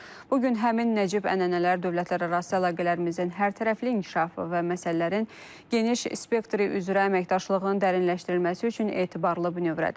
Bu gün həmin Nəcib ənənələr dövlətlərarası əlaqələrimizin hərtərəfli inkişafı və məsələlərin geniş spektri üzrə əməkdaşlığın dərinləşdirilməsi üçün etibarlı bünövrədir.